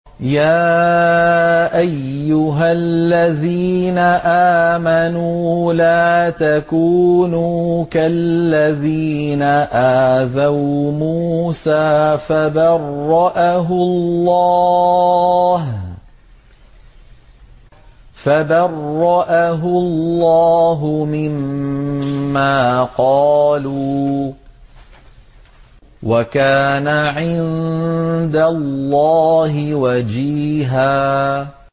يَا أَيُّهَا الَّذِينَ آمَنُوا لَا تَكُونُوا كَالَّذِينَ آذَوْا مُوسَىٰ فَبَرَّأَهُ اللَّهُ مِمَّا قَالُوا ۚ وَكَانَ عِندَ اللَّهِ وَجِيهًا